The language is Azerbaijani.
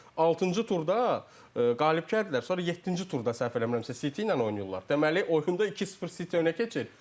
Altıncı turda qalib gəldilər, sonra yeddinci turda səhv eləmirəmsə City ilə oynayırlar, deməli oyunda 2-0 City önə keçir.